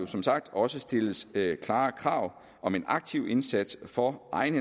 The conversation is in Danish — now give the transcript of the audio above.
som sagt også stilles klare krav om en aktiv indsats for egen